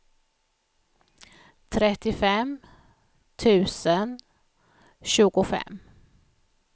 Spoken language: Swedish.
trettiofem tusen tjugofem